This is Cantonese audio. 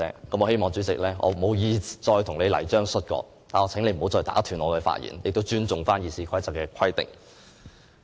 我無意再與主席"玩泥漿摔角"，我請你不要再打斷我的發言，並尊重《議事規則》的規定。